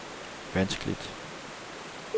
vanskeligt